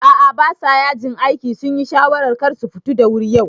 A'a basa yajin aiki, sunyi shawarar karsu futu da wuri yau